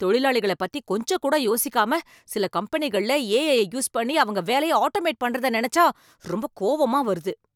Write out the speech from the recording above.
தொழிலாளிகளப் பத்தி கொஞ்சம் கூட யோசிக்காம, சில கம்பெனிகள்ல ஏஐய யூஸ் பண்ணி அவங்க வேலைய ஆட்டோமேட் பண்றத நினைச்சா ரொம்ப கோவமா வருது.